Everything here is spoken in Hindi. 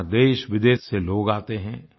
वहाँ देश विदेश से लोग आते हैं